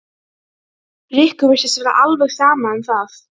Rikku virtist vera alveg sama um það.